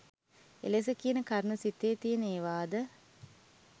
එලෙස කියන කරුණු සිතේ තියෙන ඒවාද